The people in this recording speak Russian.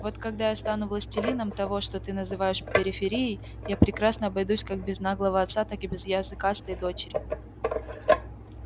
вот когда я стану властелином того что ты называешь периферией я прекрасно обойдусь как без наглого отца так и без языкастой дочери